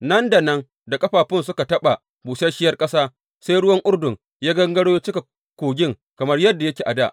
Nan da nan da ƙafafunsu suka taɓa busasshiyar ƙasa, sai ruwan Urdun ya gangaro ya cika kogin kamar yadda yake a dā.